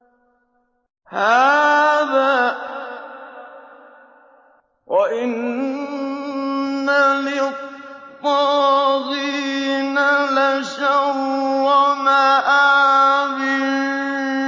هَٰذَا ۚ وَإِنَّ لِلطَّاغِينَ لَشَرَّ مَآبٍ